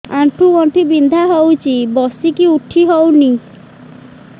ଆଣ୍ଠୁ ଗଣ୍ଠି ବିନ୍ଧା ହଉଚି ବସିକି ଉଠି ହଉନି